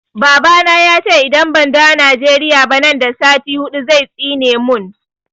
Baba na ya ce idan ban dawo Nigeria ba nan da sati huɗu zai tsine mun